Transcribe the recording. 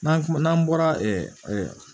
N'an kuma n'an bɔra ɛ